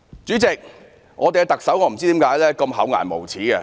主席，我不知道特首為何這麼厚顏無耻。